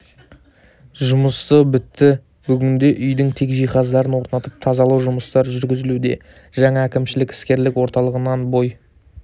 жұмысы бітті бүгінде үйдің тек жиһаздарын орнатып тазалау жұмыстары жүргізілуде жаңа әкімшілік іскерлік орталығынан бой